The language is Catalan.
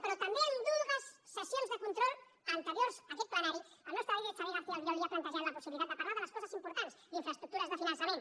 però també en dues sessions de control anteriors a aquest plenari el nostre líder xavier garcía albiol li ha plantejat la possibilitat de parlar de les coses importants d’infraestructures de finançament